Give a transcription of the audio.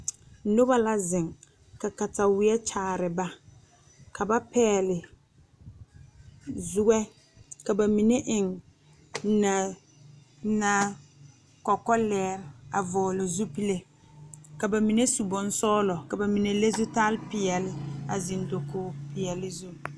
Daa poɔ la ka noba be ka ba yagle yagle zupile ane kaayɛ ka kaŋ iri a zupili are ne a yɛrɛ kpar woɔ kaŋ meŋ nuure be a zupili poɔ kyɛ ka ba mine meŋ are a kaara